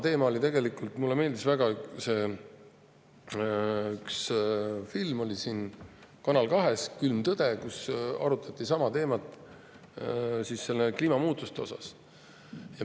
Mulle meeldis väga üks film Kanal 2-s, "Külm tõde", kus arutati sama teemat kliimamuutuste vaates.